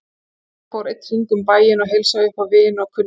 Lilla fór einn hring um bæinn og heilsaði upp á vini og kunningja.